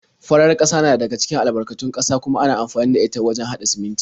Farar ƙasa na daga cikin albarkatun ƙasa kuma ana amfani da ita wajen haɗa siminti.